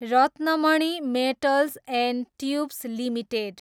Ratnamani metals and tubes limited